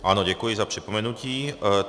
Ano, děkuji za připomenutí.